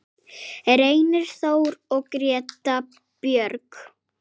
Reynir Þór og Greta Björg.